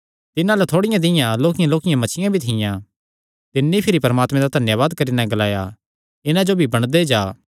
तिन्हां अल्ल थोड़ियां दियां लोक्कियांलोक्कियां मच्छियां भी थियां तिन्नी भिरी परमात्मे दा धन्यावाद करी नैं ग्लाया इन्हां जो भी बंडदे जा